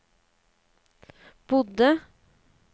bodde